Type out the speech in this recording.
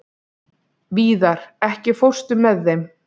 Víðar, ekki fórstu með þeim?